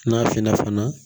N'a finna fana